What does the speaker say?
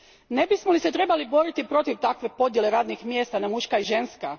Ne bismo li se trebali boriti protiv takve podjele radnih mjesta na muška i ženska?